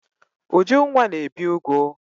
Ujunwa na-ebi ụgụ.